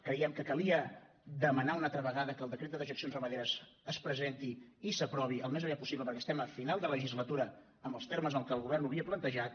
creiem que calia demanar una altra vegada que el decret de dejeccions ramaderes es presenti i s’aprovi al més aviat possible perquè estem a final de legislatura en els termes en que el govern ho havia plantejat